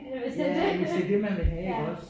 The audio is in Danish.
Ja hvis det er det man vil have iggås